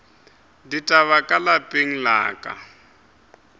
ditaba ka lapeng la ka